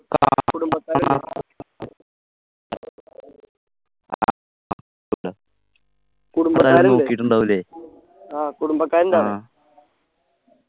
കുടുംബക്കാര് ആഹ് കുടുംബക്കാര് ഉണ്ടാട